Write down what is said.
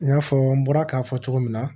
I n'a fɔ n bɔra k'a fɔ cogo min na